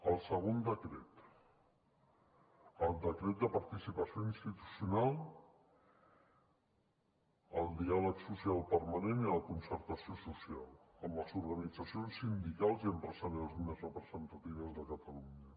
el segon decret el decret de participació institucional el diàleg social permanent i la concertació social amb les organitzacions sindicals i empresarials més representatives de catalunya